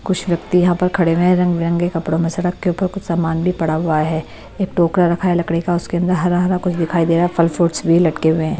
कुछ व्यक्ति यहाँ पर खड़े हुए हैं रंग-बिरंगे कपड़ों में सड़क के ऊपर कुछ सामान भी पड़ा हुआ है एक टोकरा रखा है लकड़ी का उसके अंदर हरा-हरा कुछ दिखाई दे रहा है फल फ्रूट्स भी लटके हुए हैं।